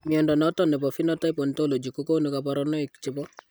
Mnyondo noton nebo Phenotype Ontology kogonu kabarunaik chebo